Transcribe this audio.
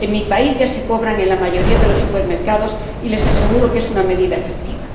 En mi país ya se cobran en la mayoría de los supermercados y les aseguro que es una medida efectiva.